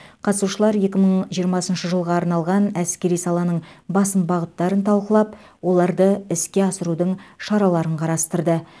қатысушылар екі мың жиырмасыншы жылға арналған әскери саланың басым бағыттарын талқылап оларды іске асырудың шараларын қарастырды